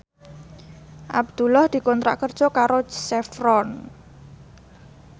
Abdullah dikontrak kerja karo Chevron